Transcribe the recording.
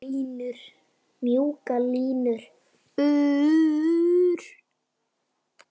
Mjúkar línur.